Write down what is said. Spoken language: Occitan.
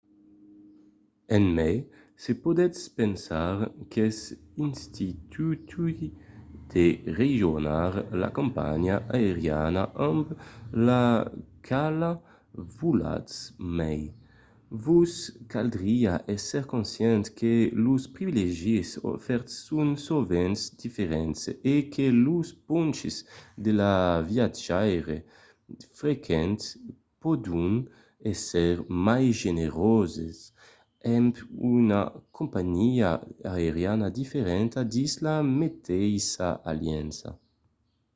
e mai se podètz pensar qu'es intuitiu de rejónher la companhiá aeriana amb la quala volatz mai vos caldriá èsser conscient que los privilègis ofèrts son sovent diferents e que los ponches de viatjaire frequent pòdon èsser mai generoses amb una companhiá aeriana diferenta dins la meteissa aliança